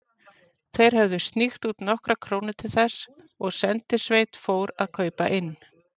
Þeir höfðu sníkt út nokkrar krónur til þess, og sendisveit fór að kaupa inn.